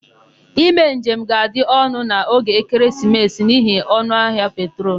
Ime njem ga-adị ọnụ n'oge ekeresimesi n'ihi ọnụahịa petrol.